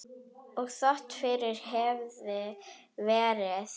Og þótt fyrr hefði verið.